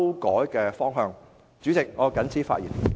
代理主席，我謹此陳辭。